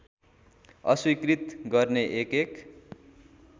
अस्वीकृत गर्ने एकएक